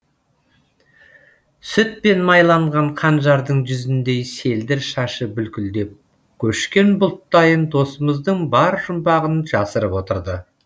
сүтпен майланған қанжардың жүзіндей селдір шашы бүлкілдеп көшкен бұлттайын досымыздың бар жұмбағын жасырып отырды